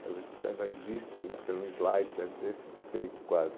Quero ver se ainda existem né, porque eram devem ter se desfeito quase.